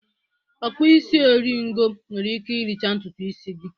Ọ kpụ isi eri ngo nwere ike ịricha ntutu ịsị.